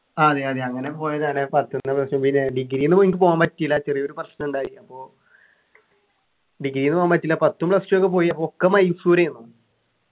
ആഹ് അതെയതെ അങ്ങനെ പോയതാണ് പത്ത്ന്ന് പിന്നെ degree ന്നു എനിക്ക് പോകാൻ പറ്റീല്ല ചെറിയൊരു പ്രശ്നാണ്ടായി അപ്പൊ degree ന്ന് പോകാൻ പറ്റീല്ല പത്തും plus two ഒക്കെ പോയി ഒക്കെ മൈസൂർ ഏരുന്നു